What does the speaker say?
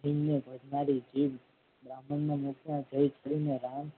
જીવ ને ભોજનારી જીભ બ્રાહ્મણ ના મુખમાં જઈ ચડી ને રામ